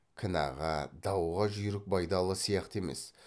кінәға дауға жүйрік байдалы сияқты емес